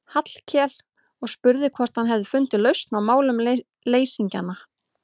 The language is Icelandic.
Hallkel og spurði hvort hann hefði fundið lausn á málum leysingjanna.